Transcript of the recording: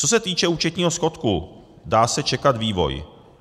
Co se týče účetního schodku, dá se čekat vývoj.